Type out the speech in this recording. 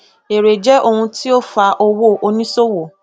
èrè jé ohun tí ó fa owó oníṣòwò